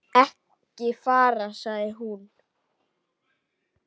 Ekki fara, sagði hún.